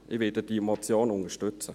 Ich werde diese Motion unterstützen.